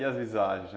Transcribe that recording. E as visagens?